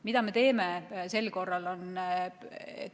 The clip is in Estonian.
Mida me sel korral aga teeme?